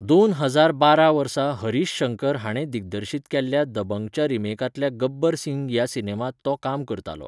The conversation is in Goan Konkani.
दोन हजार बारा वर्सां हरीश शंकर हाणें दिग्दर्शीत केल्ल्या दबंगच्या रिमेकांतल्या गब्बर सिंग ह्या सिनेमांत तो काम करतालो.